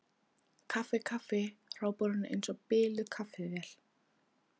Kaffi, kaffi, hrópar hún eins og biluð kaffivél.